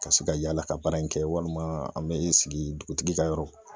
Ka se ka yaala ka baara in kɛ .Walima an be sigi dugutigi ka yɔrɔ